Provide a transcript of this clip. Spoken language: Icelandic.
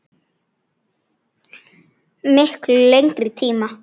Miklu lengri tíma.